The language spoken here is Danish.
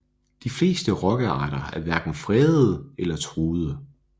De fleste rokkearter er hverken fredede eller truede